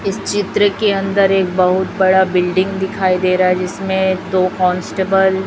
इस चित्र के अंदर एक बहुत बड़ा बिल्डिंग दिखाई दे रहा है जिसमें दो कांस्टेबल --